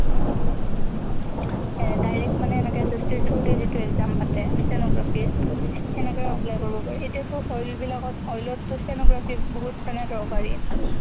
এ direct মানে এনেকে SSC through দি যিতো exam পাতে stenography ৰ, , সেনেকে ও apply কৰিব পাৰি। এতিয়া টো oil বিলাকত, oil অত টো stenography বহুত মানে দৰকাৰী।